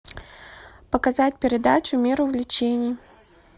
показать передачу мир увлечений